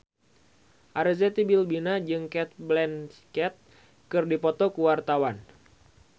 Arzetti Bilbina jeung Cate Blanchett keur dipoto ku wartawan